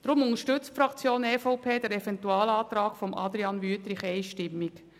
Deshalb unterstützt die EVP den Eventualantrag von Grossrat Wüthrich einstimmig.